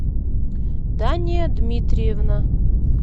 дания дмитриевна